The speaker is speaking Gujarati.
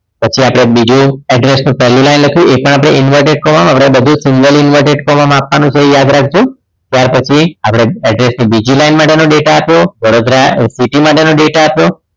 પછી આપણે બીજું address ની પહેલી line લખી એ પણ inverted comma માં આપણે બધું single inverted comma આપવાનો છે યાદ રાખજો ત્યાર પછી આપણે address ની બીજી line માટેનો data આપ્યો વડોદરા city માટેનો data આપ્યો